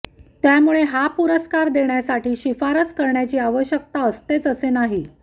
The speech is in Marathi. त्यामुळे हा पुरस्कार देण्यासाठी शिफारस करण्याची आवश्यकता असतेच असे नाही